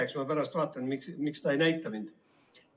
Eks ma pärast vaatan, miks ta ei näita mind.